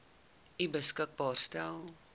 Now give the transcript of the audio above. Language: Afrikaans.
u beskikbaar gestel